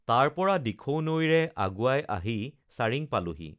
তাৰ পৰা দিখৌ নৈৰে আগুৱাই আহি চাৰিং পালেহি